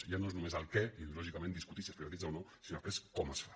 ja no és només el què ideològicament discutir si es privatitza o no sinó des·prés com es fa